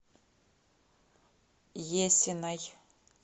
есиной